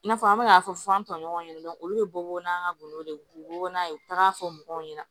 I n'a fɔ an bɛ k'a fɔ an tɔɲɔgɔn ɲɛna olu be bɔ n'an ka gɔnɔ de ye u be bɔ n'a ye u taga fɔ mɔgɔw ɲɛna